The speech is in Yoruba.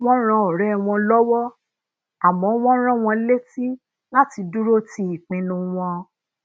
wón ran òré wọn lówó àmó wón rán wọn létí láti duro ti ipinnu won